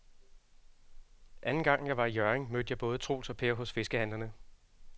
Anden gang jeg var i Hjørring, mødte jeg både Troels og Per hos fiskehandlerne.